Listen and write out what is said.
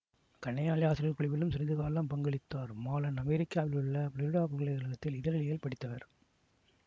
கணையாழி ஆசிரியர் குழுவிலும் சிறிது காலம் பங்களித்தார் மாலன் அமெரிக்காவில் உள்ள ஃபுளோரிடா பல்கலை கழகத்தில் இதழியல் பயின்றவர்